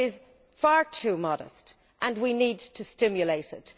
It is far too modest, and we need to stimulate it.